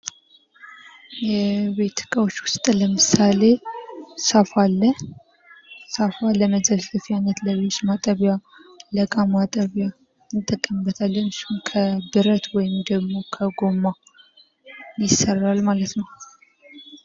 የቤት እቃዎች ዉስጥ ለምሳሌ ሳፋ አለ። ሳፋ ለመዘፍዘፊያነት ለልብስ ማጠቢያ ለእቃ ማጠቢያ እንጠቀምበታለን። ከብረት እንዲሁም ከጎማ ይሰራል ማለት ነው።